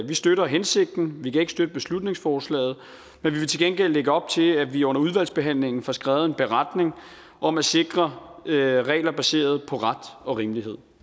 vi støtter hensigten vi kan ikke støtte beslutningsforslaget men vi vil til gengæld lægge op til at vi under udvalgsbehandlingen får skrevet en beretning om at sikre regler baseret på ret og rimelighed